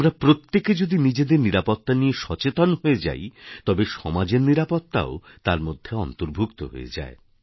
আমরা প্রত্যেকে যদি নিজেদের নিরাপত্তা নিয়ে সচেতন হয়ে যাই তবে সমাজের নিরাপত্তাও তার মধ্যে অন্তর্ভুক্ত হয়ে যায়